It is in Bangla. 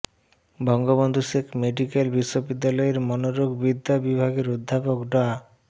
বঙ্গবন্ধু শেখ মেডিকেল বিশ্ববিদ্যালয়ের মনোরোগ বিদ্যা বিভাগের অধ্যাপক ডা